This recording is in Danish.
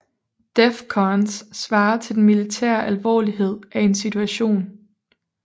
DEFCONs svarer til den militære alvorlighed af en situation